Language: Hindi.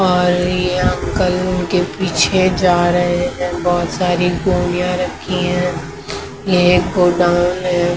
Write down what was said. और ये अंकल के पीछे जा रहे है बहुत सारी गोलियां रखी है ये एक गोडाउन है ।